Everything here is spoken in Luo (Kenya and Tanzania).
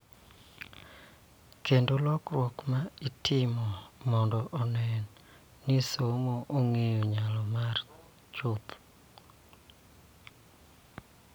Kendo lokruok ma itimo mondo onen ni somo ong�eyo nyalo mare chuth .